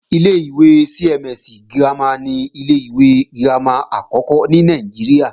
Ilé-ìwé CMS girama ni ilé-ìwé girama àkọ́kọ́ ní Nàìjíríà